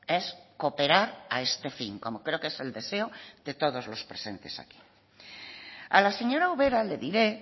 es cooperar a este fin como creo que es el deseo de todos los presentes aquí a la señora ubera le diré